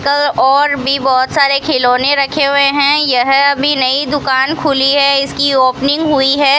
कल और भी बहुत सारे खिलौने रखे हुए हैं यह अभी नई दुकान खुली है इसकी ओपनिंग हुई है।